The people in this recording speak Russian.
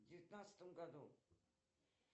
в девятнадцатом году